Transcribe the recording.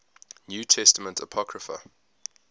new testament apocrypha